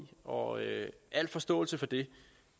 og al forståelse for det